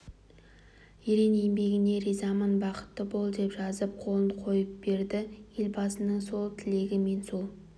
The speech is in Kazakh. ерен еңбегіңе ризамын бақытты бол деп жазып қолын қойып берді елбасының сол тілегі мен сол